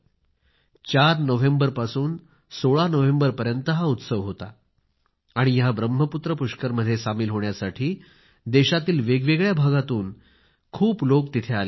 4 नोव्हेंबरपासून 16 नोव्हेंबरपर्यंत हा उत्सव होता आणि ह्या ब्रह्मपुत्र पुष्कर मध्ये सामील होण्यासाठी देशातील वेगवेगळ्या भागातून खूप लोक तिथे आले होते